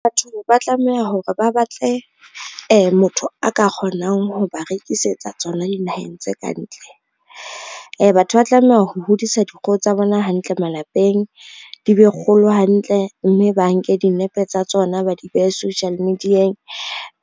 Batho ba tlameha hore ba batle motho a ka kgonang ho ba rekisetsa tsona di naheng tse kantle. Batho ba tlameha ho hodisa dikgoho tsa bona hantle malapeng, di be kgolo hantle mme ba nke dinepe tsa tsona, ba di behe social media-eng